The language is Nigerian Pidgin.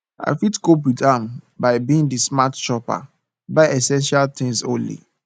i fit cope with am by being di smart shopper buy essential things only